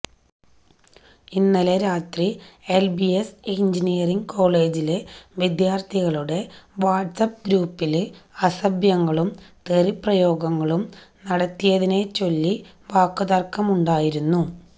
ഇന്നലെ രാത്രി L B S engineering കോളജിലെ വിദ്യാര്ത്ഥികളുടെ വാട്ട്സ്അപ്പ് ഗ്രൂപ്പില് അസഭ്യങ്ങളും തെറിപ്രയോഗങ്ങളും നടത്തിയതിനെച്ചൊല്ലി വാക്കു തര്ക്കമുണ്ടായിരുന്നു